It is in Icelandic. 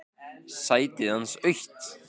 Sætið hans autt.